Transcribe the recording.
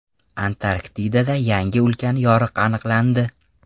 Antarktidada yangi ulkan yoriq aniqlandi.